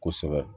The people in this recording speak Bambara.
Kosɛbɛ